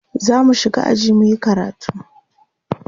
zamu shiga aji muyi karatu